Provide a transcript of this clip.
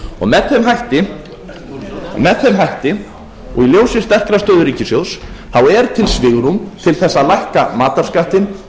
með þeim hætti og í ljósi sterkrar stöðu ríkissjóðs er til svigrúm til þess að lækka matarskattinn